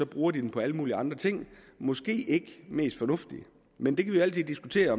bruger de dem på alle mulige andre ting måske ikke det mest fornuftige men vi kan altid diskutere